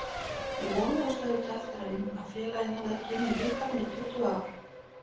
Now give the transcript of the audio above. Við vonuðumst auðvitað eftir að vinna, félagið hafði ekki unnið bikarinn í tuttugu ár.